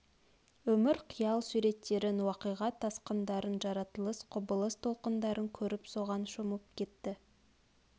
өмір қиял суреттерін уақиға тасқындарын жаратылыс құбылыс толқындарын көріп соған шомып кетеді